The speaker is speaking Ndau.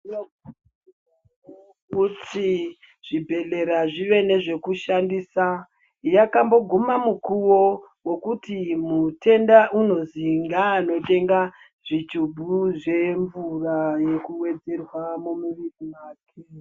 Tinotenda hurumende nekuti zvibhedhlera zvive nezvekushandisa yakamboguma nguwa yekuti mutenda unozi ngaanotenga zvigubhu zvemvura yekuwedzerwa mumuviri mwake.